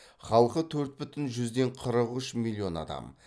халқы төрт бүтін жүзден қырық үш миллион адам